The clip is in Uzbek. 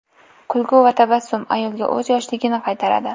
Kulgu va tabassum ayolga o‘z yoshligini qaytaradi.